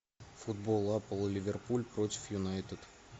футбол апл ливерпуль против юнайтед